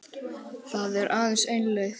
Það er aðeins ein leið